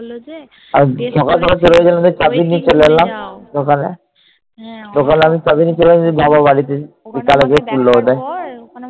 বললো যে